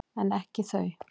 En ekki þau.